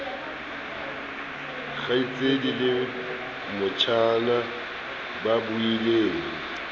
kgaitsedi le motjhana ba buileng